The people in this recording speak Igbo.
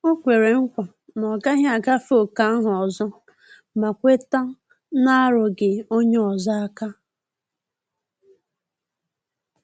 Ọ kwere nkwa na ọ gaghị agafe ókè ahụ ọzo ma kweta narugi onye ozo aka